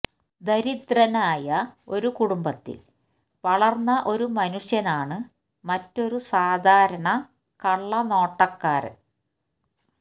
ദരിദ്രനായ ഒരു കുടുംബത്തിൽ വളർന്ന ഒരു മനുഷ്യനാണ് മറ്റൊരു സാധാരണ കള്ളനോട്ടക്കാരൻ